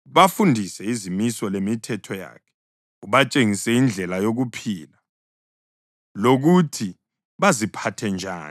Bafundise izimiso lemithetho yakhe, ubatshengise indlela yokuphila lokuthi baziphathe njani.